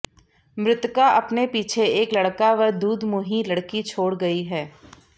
मृतका अपने पीछे एक लड़का व दुधमुंही लड़की छोड़ गई है